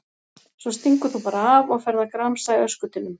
Svo stingur þú bara af og ferð að gramsa í öskutunnum!